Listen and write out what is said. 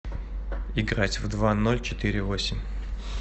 играть в два ноль четыре восемь